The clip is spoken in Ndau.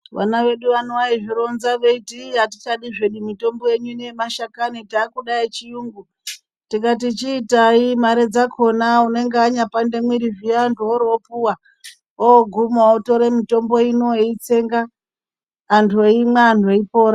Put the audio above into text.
Vana vedu vano vaizvironza veiti iii atichadi hedu mitombo yenyu ino yemashakani takuda yechiyungu, tikati chiitai mare dzakona unenge anyapande mwiri zviya antu oropuwa oguma otore mitombo ino eitsenga, antu eimwa antu eipora.